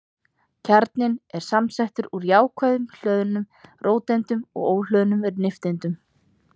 Kjarninn er samsettur úr jákvætt hlöðnum róteindum og óhlöðnum nifteindum.